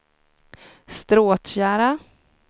Stråtjära